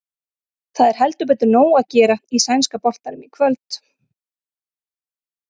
Það er heldur betur nóg að gera í sænska boltanum í kvöld.